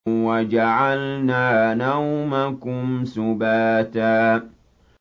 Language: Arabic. وَجَعَلْنَا نَوْمَكُمْ سُبَاتًا